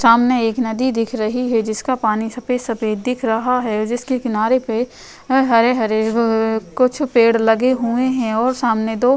सामने एक नदी दिख रही है जिसका पानी सफ़ेद-सफ़ेद दिख रहा है जिसके किनारे पे हरे-हरे अ अ अ कुछ पेड़ लगे हुए हैं और सामने दो --